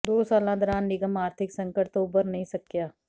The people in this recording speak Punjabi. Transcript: ਦੋ ਸਾਲਾਂ ਦੌਰਾਨ ਨਿਗਮ ਆਰਥਿਕ ਸੰਕਟ ਤੋਂ ਉਭਰ ਨਹੀਂ ਸਕਿਆ